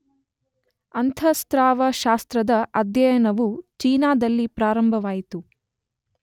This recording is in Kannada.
ಅಂತಃಸ್ರಾವ ಶಾಸ್ತ್ರದ ಅಧ್ಯಯನವು ಚೀನಾದಲ್ಲಿ ಪ್ರಾರಂಭವಾಯಿತು.